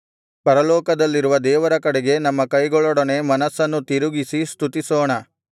ಪರಲೋಕದಲ್ಲಿರುವ ದೇವರ ಕಡೆಗೆ ನಮ್ಮ ಕೈಗಳೊಡನೆ ಮನಸ್ಸನ್ನೂ ತಿರುಗಿಸಿ ಸ್ತುತಿಸೋಣ